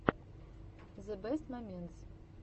зэ бэст моментс